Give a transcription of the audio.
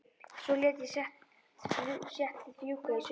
Svo lét ég settið fjúka í sumar.